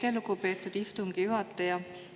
Aitäh, lugupeetud istungi juhataja!